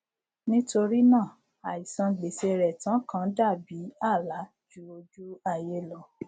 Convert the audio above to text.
nítorínà àìsan gbèsè rẹ tán kàn dàbí àlá jú ojú ayé lọ ni